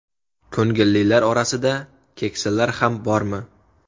Ko‘ngillilar orasida keksalar ham bormi?